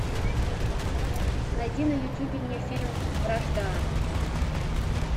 найди на ютубе мне фильм вражда